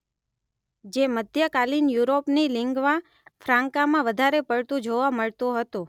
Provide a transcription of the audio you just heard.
જે મધ્યકાલીન યુરોપની લિન્ગ્વા ફ્રાન્કામાં વધારે પડતું જોવા મળતું હતું